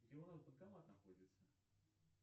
где у нас банкомат находится